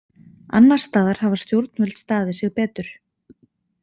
Annars staðar hafa stjórnvöld staðið sig betur.